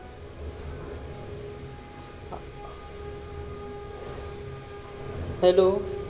hello